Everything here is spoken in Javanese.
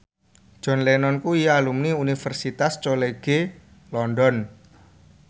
John Lennon kuwi alumni Universitas College London